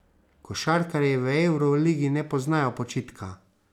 Košarkarji v evroligi ne poznajo počitka.